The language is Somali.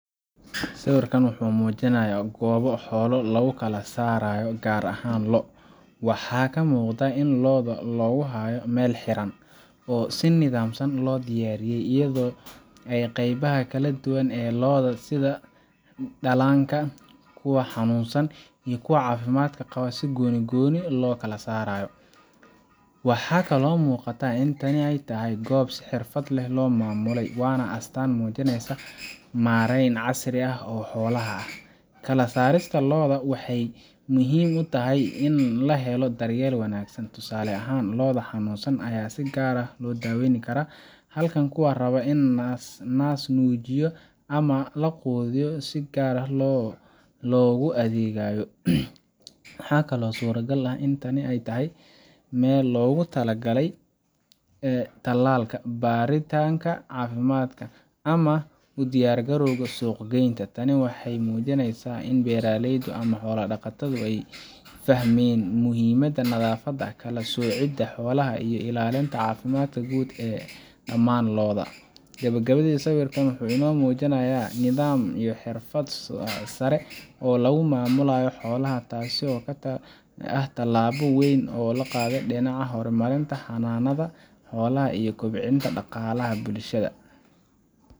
Sawirkan wuxuu muujinayaa goob xoolo lagu kala saarayo, gaar ahaan lo’. Waxa ka muuqda in lo’da lagu hayo meel xiran oo si nidaamsan loo diyaariyay, iyadoo qaybaha kala duwan ee lo’da sida dhallaanka, kuwa xanuunsan, iyo kuwa caafimaad qaba si gooni gooni ah loo kala saaray. Waxaa muuqata in tani ay tahay goob si xirfad leh loo maamulay, waana astaan muujinaysa maarayn casri ah oo xoolaha ah. Kala saarista lo’da waxay muhiim u tahay in la helo daryeel wanaagsan tusaale ahaan, lo’da xanuunsan ayaa si gaar ah loo daaweyn karaa, halka kuwa raba in la naas-nuujiyo ama la quudiyo si gaar ah loogu adeegayo. Waxaa kale oo suuragal ah in tani tahay meel loogu talagalay tallaalka, baaritaanka caafimaadka, ama u diyaargarowga suuq-geynta. Tani waxay muujinaysaa in beeraleydu ama xoolo-dhaqatadu ay fahmeen muhiimadda nadaafadda, kala soocidda xoolaha, iyo ilaalinta caafimaadka guud ee dhamaan lo’da. Gabagabadii, sawirkan wuxuu inoo muujinayaa nidaam iyo xirfad sare oo lagu maamulayo xoolaha, taas oo ah tallaabo weyn oo loo qaaday dhinaca horumarinta xanaanada xoolaha iyo kobcinta dhaqaalaha bulshada.